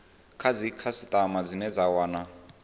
kha dzikhasitama dzine dza wana